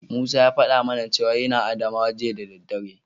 Musa ya faɗa mana cewa yana Adamawa jiya da daddare.